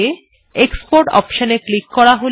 export option এ click করা যাক